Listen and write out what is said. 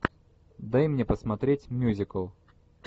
дай мне посмотреть мюзикл